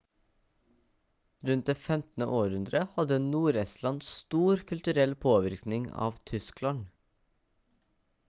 rundt det 15. århundre hadde nord-estland stor kulturell påvirkning av tyskland